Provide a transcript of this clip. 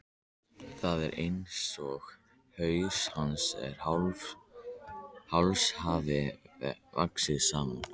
Það er einsog haus hans og háls hafi vaxið saman.